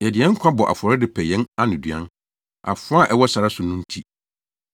Yɛde yɛn nkwa bɔ afɔre de pɛ yɛn anoduan, afoa a ɛwɔ sare so no nti.